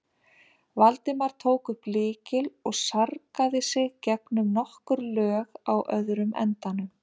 Valdimar tók upp lykil og sargaði sig gegnum nokkur lög á öðrum endanum.